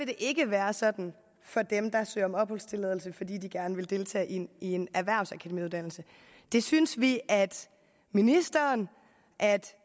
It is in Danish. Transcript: det ikke være sådan for dem der søger om opholdstilladelse fordi de gerne vil deltage i en en erhvervsakademiuddannelse det synes vi at ministeren